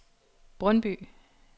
Brøndby